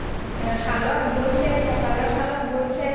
শালত বইছে কঁকালৰ শালত বইছে